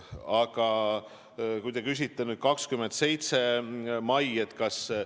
Aga te küsite 27. mai kohta.